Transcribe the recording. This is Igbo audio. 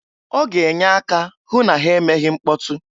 Ọ ga-enye aka hụ na ha emeghi mkpọtụ.